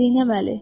Neynəməli?